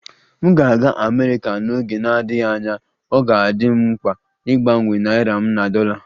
M ga-aga Amerika n'oge na-adịghị anya, ọ ga-adị m mkpa ịgbanwe naịra m na dollar